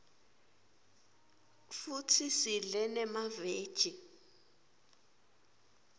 futsi sidle nemaveji